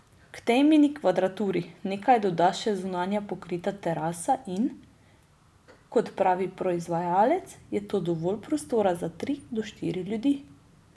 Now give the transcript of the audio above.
K tej mini kvadraturi nekaj doda še zunanja pokrita terasa in, kot pravi proizvajalec, je to dovolj prostora za tri do štiri ljudi.